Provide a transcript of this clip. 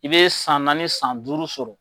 I be san naani san duuru sɔrɔ